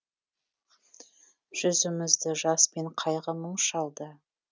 жүзімізді жас пен қайғы мұң шалды